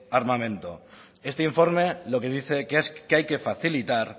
armamento este informe lo que dice es que hay que facilitar